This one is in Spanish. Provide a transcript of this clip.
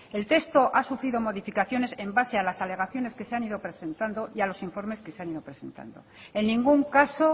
el texto ha sufrido modificaciones en base a las alegaciones que se han ido presentando y a los informes que se han ido presentando en ningún caso